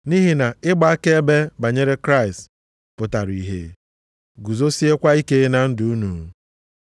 Nʼihi na ịgba akaebe banyere Kraịst pụtara ihe, guzosiekwa ike na ndụ unu.